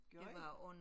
Gjorde I?